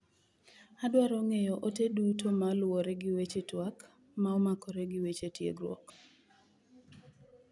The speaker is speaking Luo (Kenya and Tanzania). Adwaro ng'eyo ote duto ma oluwore gi weche tuak ma omakore gi weche tiegruok.